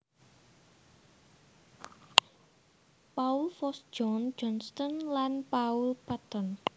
Paul Foss John Johnston lan Paul Patton